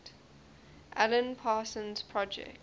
alan parsons project